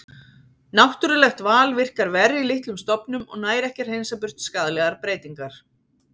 Náttúrulegt val virkar verr í litlum stofnum og nær ekki að hreinsa burt skaðlegar breytingar.